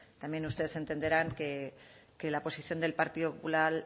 también ustedes entenderán que la posición del partido popular